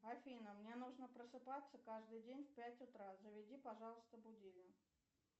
афина мне нужно просыпаться каждый день в пять утра заведи пожалуйста будильник